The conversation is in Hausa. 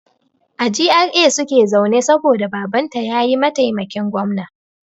A GRA suke zaune saboda Babanta ya yi maitaimakin gwamna.